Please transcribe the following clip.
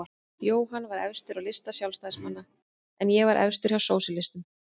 Jóhann var efstur á lista Sjálfstæðismanna en ég var efstur hjá sósíalistum.